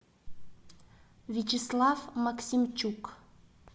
вячеслав максимчук